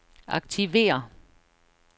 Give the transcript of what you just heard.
aktiver